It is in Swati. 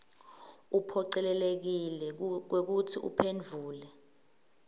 uphocelekile kwekutsi uphendvule